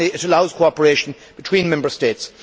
Finally, it allows cooperation between Member States.